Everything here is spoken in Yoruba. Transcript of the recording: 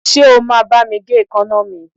Ṣé o máa bá mi gé èékánná mi?